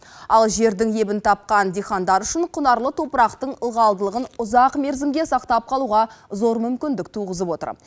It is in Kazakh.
ал жердің ебін тапқан диқандар үшін құнарлы топырақтың ылғалдылығын ұзақ мерзімге сақтап қалуға зор мүмкіндік туғызып отыр